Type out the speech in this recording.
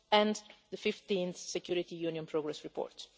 and the 15 Security Union progress reports.